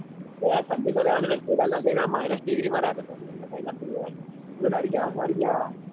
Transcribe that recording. બે ઠંડી તો રેવાની યાર અમે કેદારનાથ જૈન આયા માં રેટ અમે તો બી કઈ ના થયું.